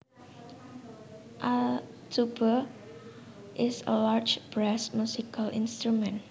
A tuba is a large brass musical instrument